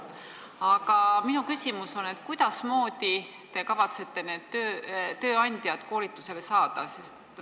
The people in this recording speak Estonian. Aga kuidasmoodi te kavatsete need tööandjad koolitusele saada?